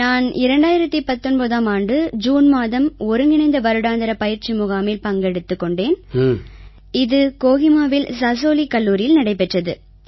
நான் 2019ஆம் ஆண்டு ஜூன் மாதம் ஒருங்கிணைந்த வருடாந்திர பயிற்சி முகாமில் பங்கெடுத்துக் கொண்டேன் இது கோஹிமாவில் சாசோலி கல்லூரியில் நடைபெற்றது